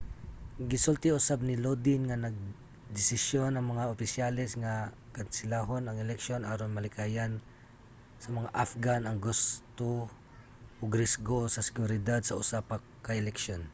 gisulti usab ni lodin nga nagdesisyon ang mga opisyales nga kanselahon ang eleksyon aron malikayan sa mga afghan ang gasto ug risgo sa seguridad sa usa pa ka eleksyon